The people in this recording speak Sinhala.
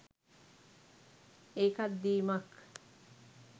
ඒකත් දීමක්.